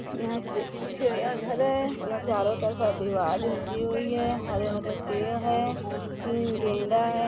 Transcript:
यहाँ ची चिड़ियाँ घर है यहाँ चारों तरफ दीवार खींची हुई है हरे- हरे पेड़ है तीन गेंड़ा है।